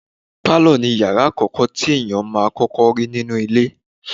Pálọ̀ ni ìyàrá àkọ́kọ́ tí ènìyàn máà ń rí nínú ilé.